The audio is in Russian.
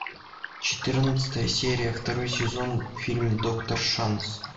четырнадцатая серия второй сезон фильм доктор шанс